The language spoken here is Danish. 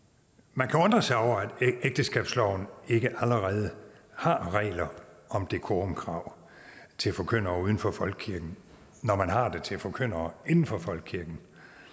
man kan undre sig over at ægteskabsloven ikke allerede har regler om decorumkrav til forkyndere uden for folkekirken når man har det til forkyndere inden for folkekirken